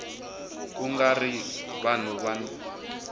ku nga ri vanhu van